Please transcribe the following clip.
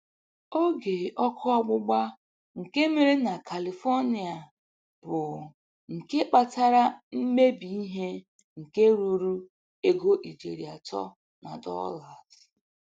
Oge óké ọ́kụ́ ọgbụgba nke mere na Kalifonia bụ nke kpatara mmebi ihe nke ruru ego ijeri atọ na dolas.